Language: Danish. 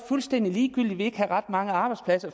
fuldstændig ligegyldigt at der ikke var ret mange arbejdspladser